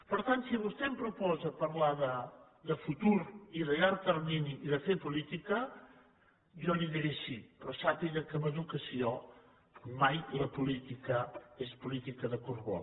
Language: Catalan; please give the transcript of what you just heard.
per tant si vostè em proposa parlar de futur i de llarg termini i de fer política jo li diré sí però sàpiga que en educació mai la política és política de curt vol